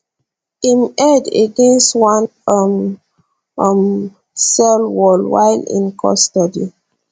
im head against one um um cell wall while in custody